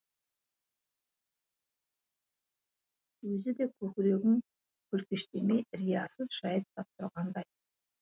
өзі де көкірегін көлкештемей риясыз жайып сап тұрғандай